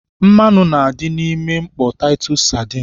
Mmanụ na-adị n'ime mkpọ taịtọs sadin